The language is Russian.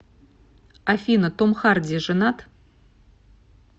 афина том харди женат